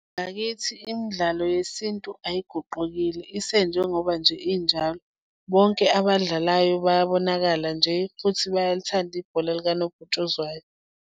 Ngakithi imidlalo yesintu ayiguqukile isenjengoba nje injalo. Bonke abadlalayo bayabonakala nje futhi bayaluthanda ibhola likanobhutshuzwayo.